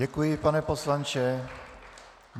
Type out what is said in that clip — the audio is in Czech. Děkuji, pane poslanče.